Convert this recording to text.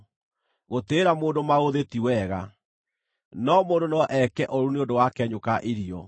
Gũtĩĩra mũndũ maũthĩ ti wega: no mũndũ no eke ũũru nĩ ũndũ wa kenyũ ka irio.